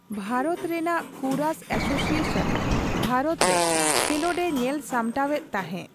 ᱵᱷᱟᱨᱚᱛ ᱨᱮᱱᱟᱜ kurash association Bharat ᱨᱮ ᱠᱷᱮᱞᱚᱸᱰ ᱮ ᱧᱮᱞ ᱥᱟᱢᱴᱟᱣᱮᱫ ᱛᱟᱦᱮᱸ ᱾